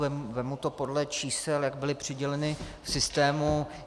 Vezmu to podle čísel, jak byla přidělena v systému.